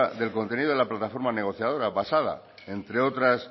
del contenido de la plataforma negociadora basada entre otras